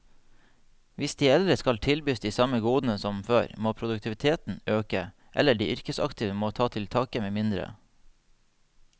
Hvis de eldre skal tilbys de samme godene som før, må produktiviteten øke, eller de yrkesaktive må ta til takke med mindre.